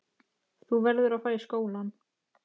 Þú verður að fara í skólann.